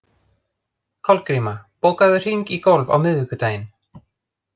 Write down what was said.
Kolgríma, bókaðu hring í golf á miðvikudaginn.